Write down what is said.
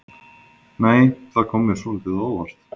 Nei! Það kom mér svolítið á óvart!